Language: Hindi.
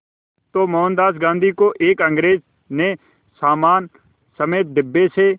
तो मोहनदास गांधी को एक अंग्रेज़ ने सामान समेत डिब्बे से